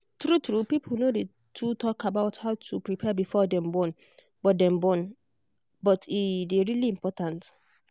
true truepeople no day too talk about how to prepare before them born. but them born. but e day really important